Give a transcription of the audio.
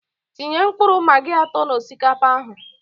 Tinye mkpụrụ magi atọ na osikapa ahụ